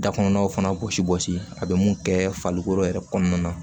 Da kɔnɔnaw fana gosi gosi a be mun kɛ farikolo yɛrɛ kɔnɔna na